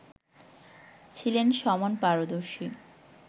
ছিলেন সমান পারদর্শী